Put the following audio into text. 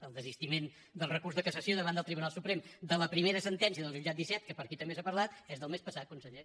el desistiment del recurs de cassació davant del tribunal suprem de la primera sentència del jutjat disset que per aquí també s’ha parlat és del mes passat conseller